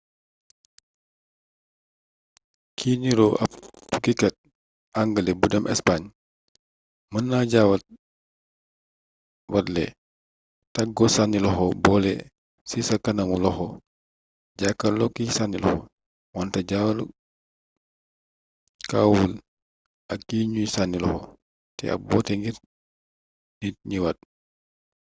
cig niroo ab tukkikat angale bu dem espaañ mën na jaawatle taggo sànni loxo boole ci sa kanamu loxo jàkkarloog kiy sànni loxo wante jàkkaoowul ak ki nuy sànni loxo ne ab woote ngir nit ñëwaat